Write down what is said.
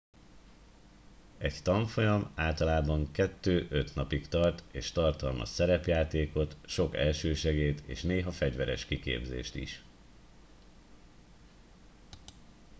egy tanfolyam általában 2-5 napig tart és tartalmaz szerepjátékot sok elsősegélyt és néha fegyveres kiképzést is